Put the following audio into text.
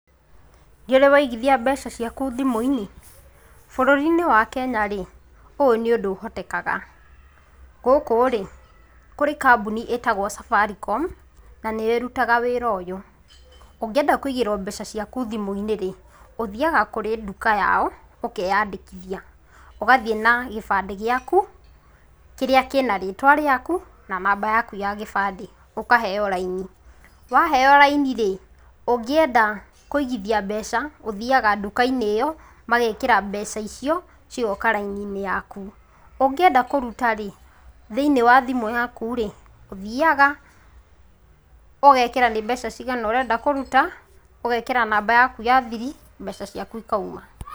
Nĩũrĩ waigithia mbeca ciaku thimũ-inĩ? bũrũrinĩ wa Kenya rĩ, ũyũ nĩ ũndũ ũhotekaga, gũkũ rĩ, kũrĩ kambũni ĩtagwo Safaricom na nĩyo ĩrutaga wĩra ũyũ, ũngĩenda kũigĩrwa mbeca ciaku thimũinĩ rĩ ũthiaga kũrĩ ndũka yao, ũkenandĩkithia, ũgathiĩ na kĩbandĩ gĩaku kĩrĩa kĩna rĩtwa riaku na namba yaku ya kĩbandĩ, ũkahewa raini waheo raini rĩ, ũngĩenda kũigithia mbeca ũthiaga ndukainĩ ĩyo ,magekĩra mbeca icio, cigoka raini yaku. Ũngĩenda kũruta rĩ thĩinĩ wa thimũ yaku rĩ ũthiaga ,ũgekĩra nĩ mbeca cigana ũrenda kũrũta ũgekĩra namba yaku ya thiri mbeca ciaku ikauma.